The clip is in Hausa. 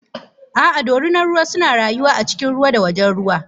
A'a dorinar ruwa suna rayuwa a cikin ruwa da wajen ruwa.